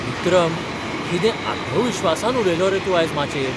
विक्रम, कितें आत्मविस्वासान उलयलो रे तूं आयज माचयेर!